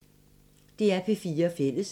DR P4 Fælles